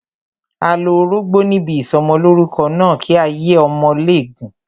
A lo orógbó níbi ìsọmọlórúkọ náà, kí ayé ọmọ lè gùn.